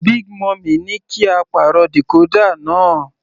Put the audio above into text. Big mummy ní kí á pàrọ̀ decorder náà.